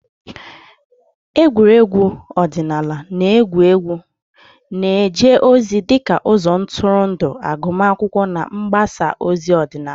Egwuregwu ọdịnala na egwu egwu na-eje ozi dị ka ụzọ ntụrụndụ, agụmakwụkwọ na mgbasa ozi ọdịnala.